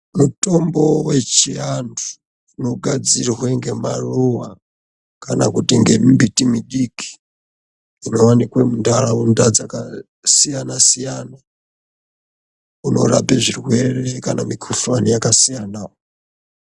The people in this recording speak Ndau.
Mutombo wechianhu unogadzirwa ngemaruwa kana kuti ngemimbiti midiki inowanikwa munharaunda dzakasiyana siyana unorape zvirwere kana mikhuhlani yakasiyana.